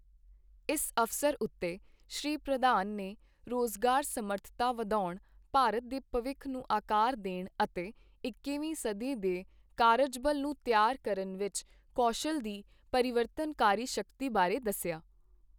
ਇਸ ਅਵਸਰ ਉੱਤੇ ਸ਼੍ਰੀ ਪ੍ਰਧਾਨ ਨੇ ਰੋਜ਼ਗਾਰ ਸਮਰੱਥਾ ਵਧਾਉਣ, ਭਾਰਤ ਦੇ ਭਵਿੱਖ ਨੂੰ ਆਕਾਰ ਦੇਣ ਅਤੇ ਇੱਕੀਵੀਂ ਸਦੀ ਦੇ ਕਾਰਜਬਲ ਨੂੰ ਤਿਆਰ ਕਰਨ ਵਿੱਚ ਕੌਸ਼ਲ ਦੀ ਪਰਿਵਤਰਨਕਾਰੀ ਸ਼ਕਤੀ ਬਾਰੇ ਦੱਸਿਆ।